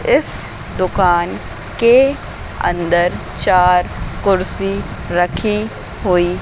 इस दुकान के अंदर चार कुर्सी रखी हुई--